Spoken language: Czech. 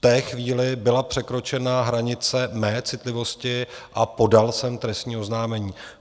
V té chvíli byla překročena hranice mé citlivosti a podal jsem trestní oznámení.